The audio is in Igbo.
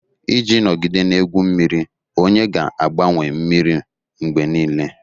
Iji nọgide na-egwu mmiri, onye ga-agbanwe mmiri mgbe niile